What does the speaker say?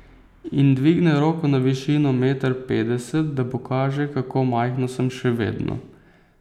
In dvigne roko na višino meter petdeset, da pokaže, kako majhna sem še vedno.